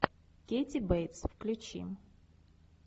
кэти бейтс включи